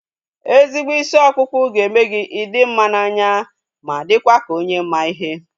Ezigbo isi ọkpụkpụ ga-eme gị ị dị mma n'anya ma dịkwa ka onye ma ihe